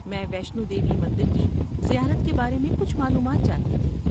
میں ویشنو دیوی مندر کی زیارت کے بارے میں کچھ معلومات چاہتی تھی۔